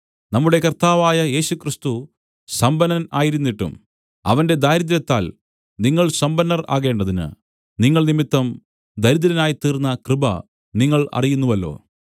നമ്മുടെ കർത്താവായ യേശുക്രിസ്തു സമ്പന്നൻ ആയിരുന്നിട്ടും അവന്റെ ദാരിദ്ര്യത്താൽ നിങ്ങൾ സമ്പന്നർ ആകേണ്ടതിന് നിങ്ങൾ നിമിത്തം ദരിദ്രനായിത്തീർന്ന കൃപ നിങ്ങൾ അറിയുന്നുവല്ലോ